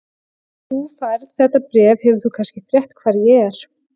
Þegar þú færð þetta bréf hefur þú kannski frétt hvar ég er.